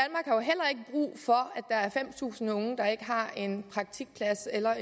der er fem tusind unge der ikke har en praktikplads eller